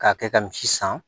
K'a kɛ ka misi san